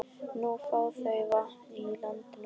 Nú fá þau vatn úr lindinni okkar.